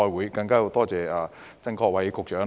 此外，我更要多謝曾國衞局長。